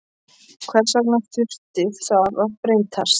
Hvers vegna þurfti það að breytast?